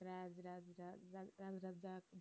রাজ রাজ দা রাজ রাজ দাদা